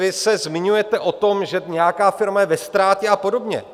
Vy se zmiňujete o tom, že nějaká firma je ve ztrátě a podobně.